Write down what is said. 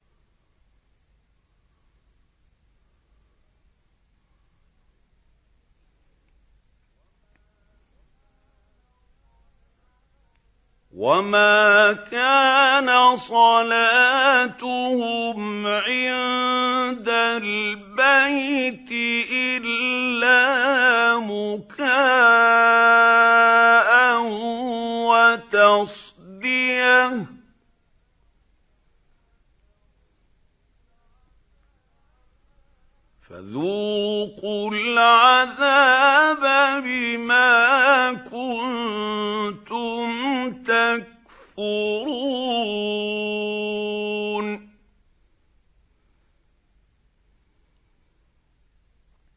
وَمَا كَانَ صَلَاتُهُمْ عِندَ الْبَيْتِ إِلَّا مُكَاءً وَتَصْدِيَةً ۚ فَذُوقُوا الْعَذَابَ بِمَا كُنتُمْ تَكْفُرُونَ